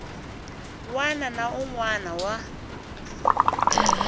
wana na un wana wa